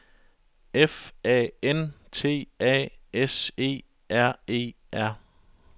F A N T A S E R E R